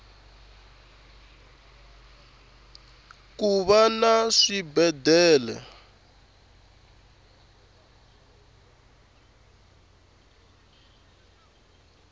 kuva na swibedele